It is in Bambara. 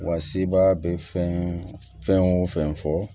Wa sebaa bɛ fɛn fɛn o fɛn fɔ